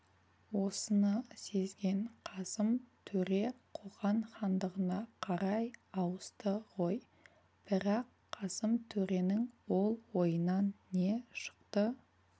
осыны сезген қасым төре қоқан хандығына қарай ауысты ғой бірақ қасым төренің ол ойынан не шықты